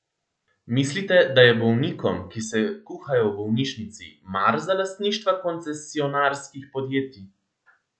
Mislite, da je bolnikom, ki se kuhajo v bolnišnici, mar za lastništva koncesionarskih podjetij?